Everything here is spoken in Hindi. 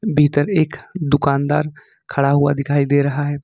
भीतर एक दुकानदार खड़ा हुआ दिखाई दे रहा है।